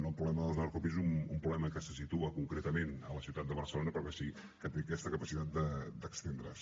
el problema dels narcopisos és un problema que se situa concretament a la ciutat de barcelona però que sí que té aquesta capacitat d’estendre’s